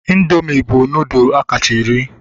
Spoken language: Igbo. Indoomị bụ nudụ akacha eri